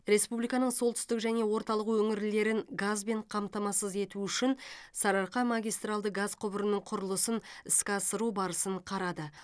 республиканың солтүстік және орталық өңірлерін газбен қамтамасыз ету үшін сарыарқа магистралды газ құбырының құрылысын іске асыру барысын қарады